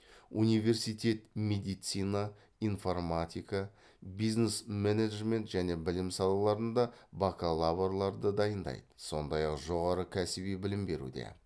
университет медицина информатика бизнес менеджмент және білім салаларында бакалаврларды дайындайды сондай ақ жоғары кәсіби білім беруде